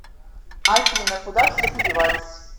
афина куда все подевались